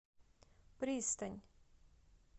пристань